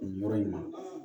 Nin yɔrɔ in ma